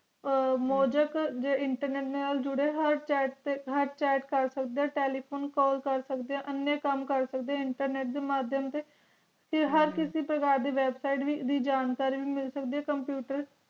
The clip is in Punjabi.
ਮੋਜੈਕ internet ਨਾਲ ਜੂਰੀ ਹੋਏ chat ਟੀ chat ਕੇਰ ਸਕ ਦੇ ਆ telephonecall ਕੇਰ ਸਕ ਦੇ ਆ ਏਨੀ ਕਾਮ ਕੇਰ ਸਕ ਦੀ ਆ internet ਦੇ ਮਾਦਿਬ ਤੇ ਟੀ ਹਰ ਕਿਸੀ ਪਕੜ ਦੀ website ਦੀ ਜਾਣਕਾਰੀ ਮਿਲ ਸਕਦੀਆਂ computer